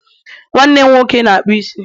nwannem nwoke n'akpu isi